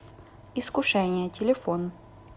искушение телефон